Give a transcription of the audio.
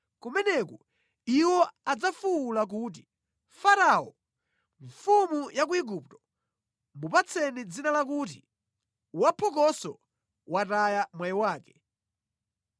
Kumeneku iwo adzafuwula kuti, ‘Farao, mfumu ya ku Igupto mupatseni dzina lakuti, Waphokoso, Wotaya mwayi wake.’